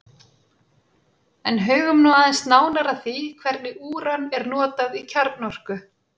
En hugum nú aðeins nánar að því hvernig úran er notað í kjarnorku.